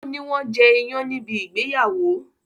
o ní wón jẹ iyán níbi ìgbéyàwó.